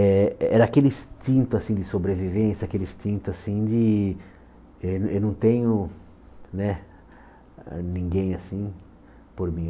Eh era aquele instinto assim de sobrevivência, aquele instinto assim de eh eu não tenho né ninguém assim por mim.